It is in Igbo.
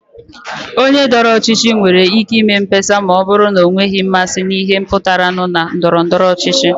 Onye dọrọ ọchịchị nwere ike inye mkpesa ma ọ bụrụ na ọ nweghị mmasị na ihe pụtaranụ na ndọrọ ndọrọ ọchịchị.